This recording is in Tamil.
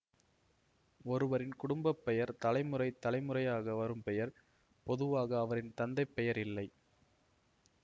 ஒருவரின் குடும்ப பெயர் தலைமுறை தலைமுறையாக வரும் பெயர் பொதுவாக அவரின் தந்தை பெயர் இல்லை